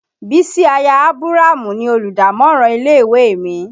Bísí aya Ábúrámù ni Olùdámọ̀ràn ilé ìwé mi